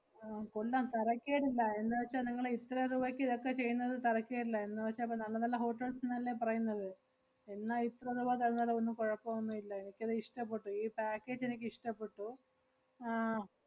ആഹ് കൊള്ളാം തരക്കേടില്ല എന്നുവെച്ചാ നിങ്ങള് ഇത്ര റൂവക്ക് ഇതക്കെ ചെയ്യുന്നത് തരക്കേടില്ല എന്നുവെച്ചാ ഇപ്പ~ നല്ല നല്ല hotels ന്നല്ലേ പറയുന്നത്. എന്നാ ഇത്ര റൂവ തരുന്നേല് ഒന്നും കൊഴപ്പം ഒന്നും ഇല്ല. എനിക്കത് ഇഷ്ടപ്പെട്ടു. ഈ package എനിക്ക് ഇഷ്ടപ്പെട്ടു. ആഹ്